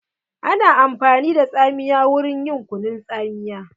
Ana amfani da tsamiya wurin yin kunun tsamiya.